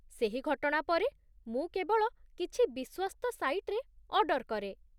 ସେହି ଘଟଣା ପରେ, ମୁଁ କେବଳ କିଛି ବିଶ୍ୱସ୍ତ ସାଇଟ୍‌ରେ ଅର୍ଡ଼ର କରେ।